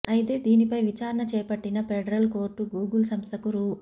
అయితే దీనిపై విచారణ చేపట్టిన ఫెడరల్ కోర్టు గూగుల్ సంస్థకు రూ